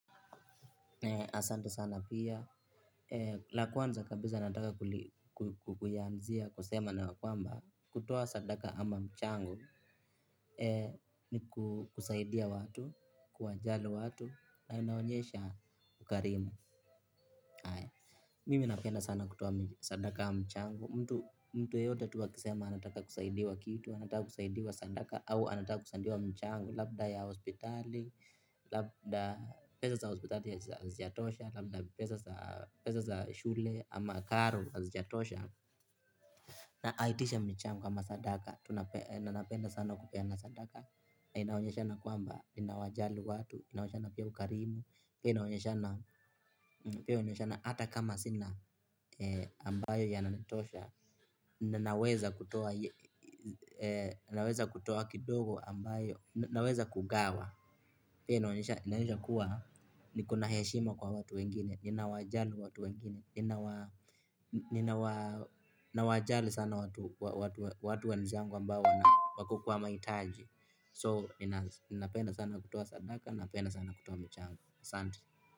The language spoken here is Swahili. Asante sana pia, la kwanza kabisa nataka kuyaanzia, kusema na kwamba, kutoa sadaka ama mchango, ni kusaidia watu, kuwajali watu, na inaonyesha ukarimu. Mimi napenda sana kutoa sadaka ya mchango. Mtu yeyote tu akisema anataka kusaidiwa kitu. Anataka kusaidiwa sadaka. Au anataka kusaidiwa mchang. Labda ya hospitali labda pesa za hospitali hazijatosha. Labda pesa za shule ama karo hazijatosha. Na aitishe mchango ama sadaka. Na napenda sana kupeana sadaka. Inaonyeshana kwamba ninawajali watu. Inaonyeshana pia ukarimu. Inaonyeshana pia ukarimu ambayo yananitosha, ninaweza kutoa kidogo ambayo, ninaweza kugawa. Pia inaonyesha kuwa, niko na heshima kwa watu wengine, ninawajali watu wengine, ninawajali sana watu wenzangu ambao wako kwa mahitaji. So, ninapenda sana kutoa sadaka, ninapenda sana kutoa michango. Asanti.